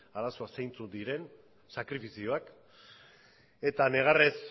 arazoak zeintzuk diren sakrifizioak eta negarrez